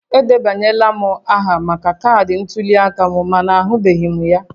Edebanyela m aha maka kaadị ntuli aka m mana ahụbeghị m ya